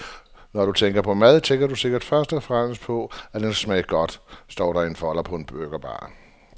Når du tænker på mad, tænker du sikkert først og fremmest på, at den skal smage godt, står der i en folder på burgerbaren.